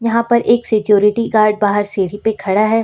यहां पर एक सिक्युरिटी गार्ड बाहर सीढ़ी पे खड़ा है।